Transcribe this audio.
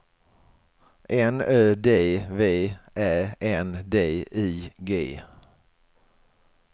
N Ö D V Ä N D I G